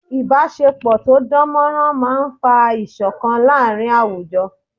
Ìbásepọ̀ tó dán mọ́rán máa n fa ìṣọ̀kan láàrin àwùjọ